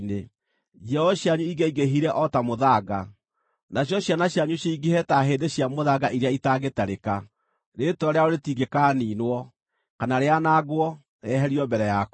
Njiaro cianyu ingĩaingĩhire o ta mũthanga, nacio ciana cianyu cingĩhe ta hĩndĩ cia mũthanga iria itangĩtarĩka; rĩĩtwa rĩao rĩtingĩkaaniinwo, kana rĩanangwo, rĩeherio mbere yakwa.”